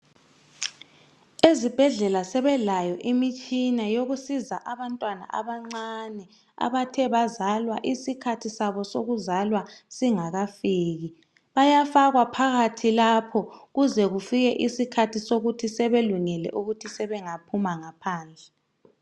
Ezibhedlela sebelayo imitshina yokusiza abantwana abancane abathe bazalwa isikhathi sabo sokuzalwa singakafkii bayafakwa phakathi lapho kuze kufike isikhathi sokuthi sebelungile ukuthi sebengaphuma ngaphandle